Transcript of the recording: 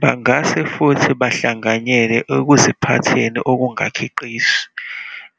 Bangase futhi bahlanganyele ekuziphatheni okungakhiqizi,